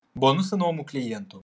бонусы новому клиенту